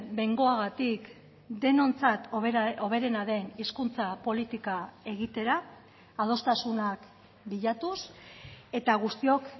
behingoagatik denontzat hoberena den hizkuntza politika egitera adostasunak bilatuz eta guztiok